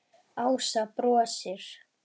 Ása brosir.